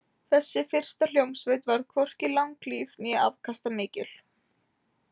Þessi fyrsta hljómsveit varð hvorki langlíf né afkastamikil.